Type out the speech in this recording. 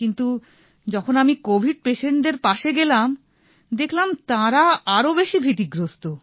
কিন্তু যখন আমি কোভিড পেশেন্টদের পাশে গেলাম দেখলাম তাঁরা আরো বেশি ভীতিগ্রস্ত